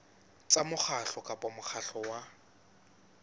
tsa mokgatlo kapa mokgatlo wa